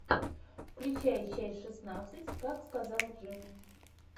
включай часть шестнадцать как сказал джим